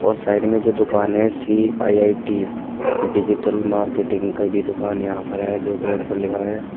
Side में जो दुकान है सी_आई_आई_टी डिजिटल मार्केटिंग का भी दुकान यहां पर है जो बोर्ड पर लिखा है।